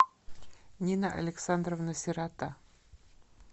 нина александровна сирота